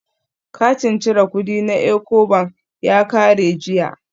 Katin cire kudi na Ecobank ya kare jiya